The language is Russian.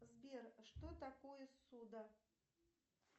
сбер что такое ссуда